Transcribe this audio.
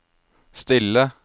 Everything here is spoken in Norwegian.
stille